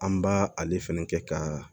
An b'a ale fɛnɛ kɛ ka